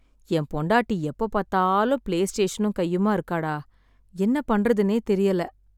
என் பொண்டாட்டி எப்போப் பார்த்தாலும் பிலேஸ்டேஷனும் கையுமா இருக்கா டா. என்ன பண்ணுறதுன்னே தெரியல!